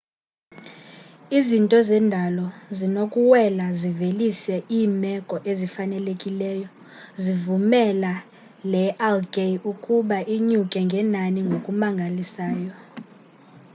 izinto zendalo zinokuwela zivelise iimeko ezifanelekileyo zivumela le algae ukuba inyuke ngenani ngokumangalisayo